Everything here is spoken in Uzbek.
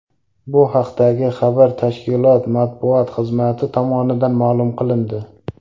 Bu haqdagi xabar tashkilot matbuot xizmati tomonidan ma’lum qilindi .